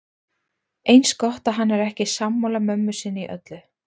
Eins gott að hann er ekki sammála mömmu sinni í öllu.